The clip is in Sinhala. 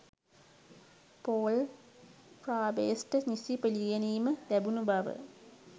පෝල් ෆාබ්‍රේස්ට නිසි පිළිගැනීම ලැබුණු බව